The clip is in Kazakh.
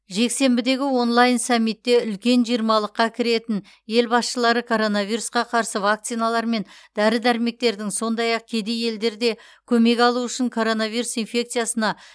жексенбідегі онлайн саммитте үлкен жиырмалыққа кіретін ел басшылары коронавирусқа қарсы вакциналар мен дәрі дәрмектердің сондай ақ кедей елдер де көмек алуы үшін коронавирус инфекциясына